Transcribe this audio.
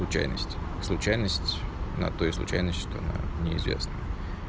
случайность случайность на то и случайность что она неизвестна